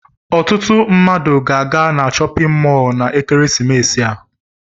Ọtụtụ mmadụ ga-aga na chọpịn mọọlụ na ekeresimesi a.